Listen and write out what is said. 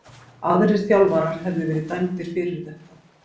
Aðrir þjálfarar hefðu verið dæmdir fyrir þetta.